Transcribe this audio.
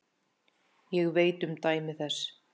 Ég veit um dæmi þess.